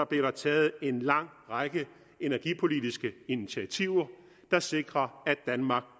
blev der taget en lang række energipolitiske initiativer der sikrer at danmark